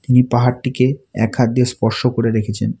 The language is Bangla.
ইনি পাহাড়টিকে এক হাত দিয়ে স্পর্শ করে রেখেছেন।